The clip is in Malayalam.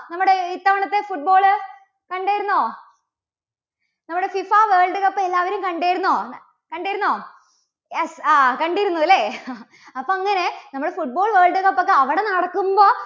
നമ്മുടെ ഇത്തവണത്തെ football കണ്ടിരുന്നോ? നമ്മുടെ FIFA world cup എല്ലാവരും കണ്ടിരുന്നോ? കണ്ടിരുന്നോ? yes ആ കണ്ടിരുന്നു അല്ലേ? അപ്പോ അങ്ങനെ നമ്മുടെ football world cup ഒക്കെ അവിടെ നടക്കുമ്പോ